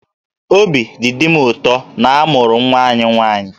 Obi dị Di m ụtọ na a mụrụ nwa anyị nwaanyị